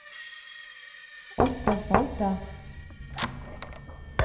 Oscar Salte